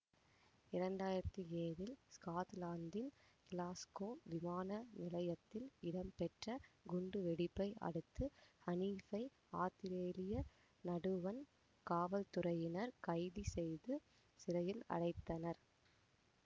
இரண்டாயிரத்தி ஏழில் ஸ்கொட்லாந்தின் கிளாஸ்கோ விமான நிலையத்தில் இடம்பெற்ற குண்டுவெடிப்பை அடுத்து ஹனீப்பை ஆத்திரேலிய நடுவண் காவல்துறையினர் கைது செய்து சிறையில் அடைத்தனர்